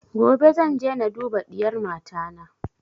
Gobe zan je na duba diyar mata na